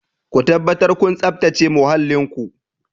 Ku tabbatar kun tsabtace muhallin ku!